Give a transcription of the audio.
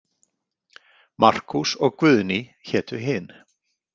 Markús og Guðný hétu hin.